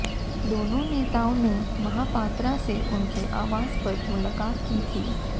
दोनों नेताओं ने महापात्रा से उनके आवास पर मुलाकात की थी